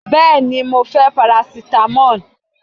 Bẹ́ẹ́ni, mo fẹ́ parasitamọ́ọ̀.